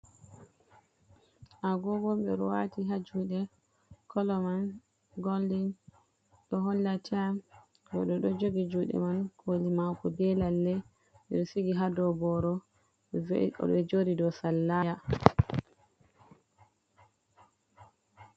a gogo bedo wati ha jude kolo man goldin do holla tayim goddo do jogi jude man koli mako be lalle bedo sigi ha doboro be jodi do sallaya